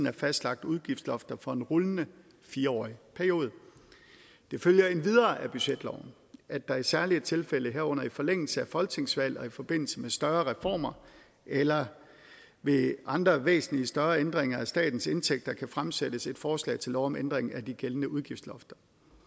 er fastlagt udgiftslofter for en rullende fire årig periode det følger endvidere af budgetloven at der i særlige tilfælde herunder i forlængelse af folketingsvalg og i forbindelse med større reformer eller ved andre væsentlige større ændringer af statens indtægter kan fremsættes et forslag til lov om ændring af de gældende udgiftslofter